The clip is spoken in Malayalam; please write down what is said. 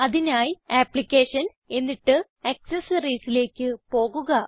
അതിനായി അപ്ലിക്കേഷൻസ് എന്നിട്ട് Accessoriesലേക്ക് പോകുക